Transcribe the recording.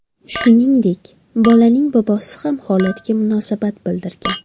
Shuningdek, bolaning bobosi ham holatga munosabat bildirgan.